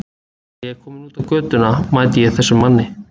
Þegar ég er kominn út á götuna mæti ég þessum manni.